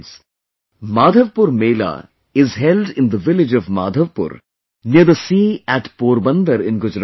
"Madhavpur Mela" is held in the village of Madhavpur near the sea at Porbandar in Gujarat